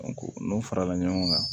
n'o farala ɲɔgɔn kan